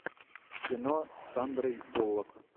кино с сандрой буллок